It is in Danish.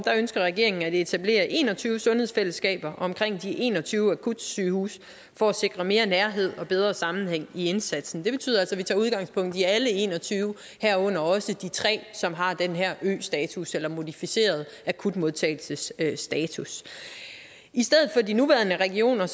ønsker regeringen at etablere en og tyve sundhedsfællesskaber omkring de en og tyve akutsygehuse for at sikre mere nærhed og bedre sammenhæng i indsatsen det betyder altså at vi tager udgangspunkt i alle en og tyve herunder også de tre som har den her østatus eller modificerede akutmodtagelsesstatus i stedet for de nuværende regioner